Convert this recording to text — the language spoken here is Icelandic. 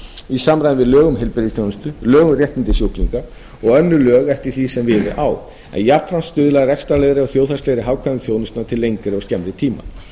í samræmi við lög um heilbrigðisþjónustu lög um réttindi sjúklinga og önnur lög eftir því sem við á en jafnframt stuðla að rekstrarlegri og þjóðhagslegri hagkvæmni þjónustunnar til lengri og skemmri tíma